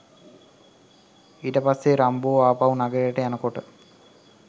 ඊට පස්සේ රම්බෝ ආපහු නඟරයට යනකොට